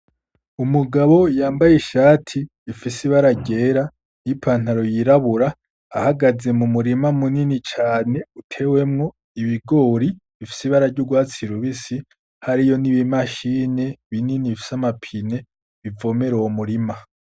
Umugabo yambaye ishati ifise ibara ryera, ipantaro y'irabura, ahagaze mu murima munini cane utewemwo ibigori bifise ibara ry’urwatsi rubisi, hariyo n’ibimashine binini bifise amapine bivomera uwo murima.